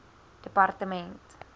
departement